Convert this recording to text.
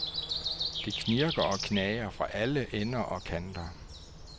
Det knirker og knager fra alle ender og kanter.